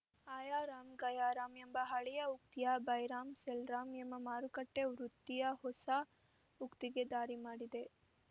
ಆಯಾ ರಾಮ್‌ ಗಯಾ ರಾಮ್‌ ಎಂಬ ಹಳೆಯ ಉಕ್ತಿಯು ಬೈ ರಾಮ್‌ ಸೆಲ್‌ ರಾಮ್‌ ಎಂಬ ಮಾರುಕಟ್ಟೆವೃತ್ತಿಯ ಹೊಸ ಉಕ್ತಿಗೆ ದಾರಿ ಮಾಡಿದೆ